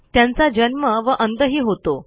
त्यांचा जन्म व अंतही होतो